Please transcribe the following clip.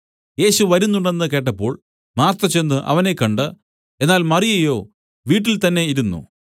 യേശു വരുന്നുണ്ടെന്നു കേട്ടപ്പോൾ മാർത്ത ചെന്ന് അവനെ കണ്ട് എന്നാൽ മറിയയോ വീട്ടിൽത്തന്നെ ഇരുന്നു